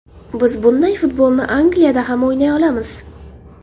Biz bunday futbolni Angliyada ham o‘ynay olamiz.